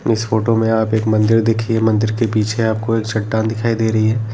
इस फोटो में आप एक मंदिर देखिए मंदिर के पीछे आपको एक चट्टान दिखाई दे रही है।